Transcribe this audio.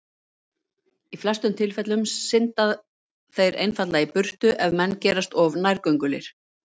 Í flestum tilfellum synda þeir einfaldlega í burtu ef menn gerast of nærgöngulir.